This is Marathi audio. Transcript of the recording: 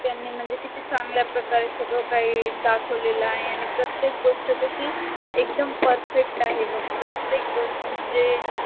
त्यांनी म्हणजे किती चंगल्या प्रकारे सगड काही दाखवलेल आहे आणि प्रतेक गोष्ट कशी एकदम perfect आहे बग प्रतेक गोष्ट म्हणजे